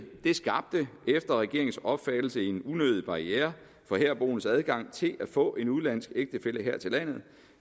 skabte efter regeringens opfattelse en unødig barriere for herboendes adgang til at få en udenlandsk ægtefælle her til landet